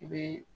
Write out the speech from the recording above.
I bɛ